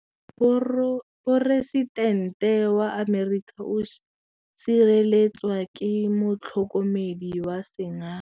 Poresitêntê wa Amerika o sireletswa ke motlhokomedi wa sengaga.